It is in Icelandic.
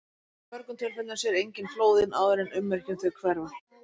Í mörgum tilfellum sér enginn flóðin áður en ummerki um þau hverfa.